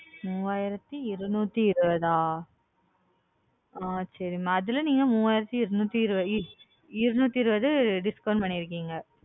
மூவயிராத்தி இருநூத்தி இருவதா அ சரி மா அதுல நீங்க மூவயிராத்தி இருநூத்தி இருவ இருநூத்தி இருவது discount பண்ணிருக்கீங்க.